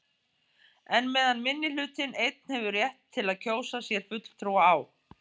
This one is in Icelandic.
En meðan minnihlutinn einn hefur rétt til að kjósa sér fulltrúa á